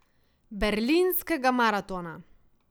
Berlinskega maratona.